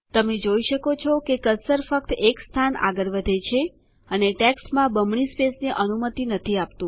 તમે જોઈ શકો છો કે કર્સર ફક્ત એક સ્થાન આગળ વધે છે અને ટેક્સ્ટમાં બમણી સ્પેસની અનુમતિ નથી આપતું